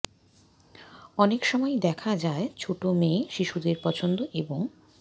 অনেক সময়ই দেখা যায় ছোট মেয়ে শিশুদের পছন্দ এবং